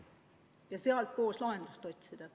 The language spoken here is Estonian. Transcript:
Ja koos tuleb lahendust otsida.